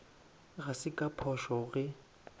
ga se ka phošo ge